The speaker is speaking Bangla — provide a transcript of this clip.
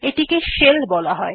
এটিকে শেল বলা হয়